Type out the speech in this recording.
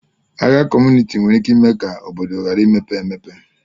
Agha kọmunịti nwere ike ime ka obodo ghara imepe emepe